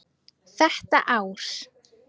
Þetta ár.